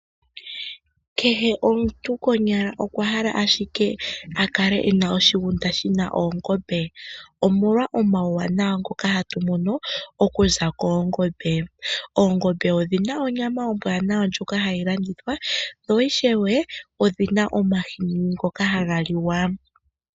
Kehe omuntu konyala okwa hala ashike akale ena oshigunda shina oongombe, omolwa omauwanawa ngoka hatu mono okuza koongombe. Oongombe odhina onyama ombwanawa ndjoka hayi landithwa na ishewe odhina omahini ngoka haga liwa.